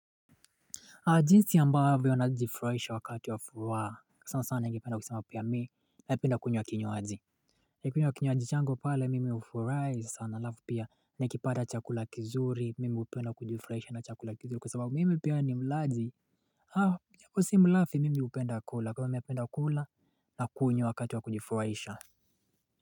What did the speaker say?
Adinsi amba avyo na jifraisha wakati wa fuwaa Sao sana hengi penda kusema upaya me na upenda kwenye wa kinyo hadi ya kwenye wa kinyo adichango pale mimi ufraisha sana lafu pia na ikipada chakula kizuri mimi upenda kujifraisha na chakula kizuri kwa sababu mimi upenda kula kwa mimi upenda kula kwa mimi upenda kula na kunye wa kati wa kujifraisha.